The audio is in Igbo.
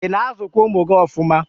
ị na-azụkwa ụmụ gị ọfụma?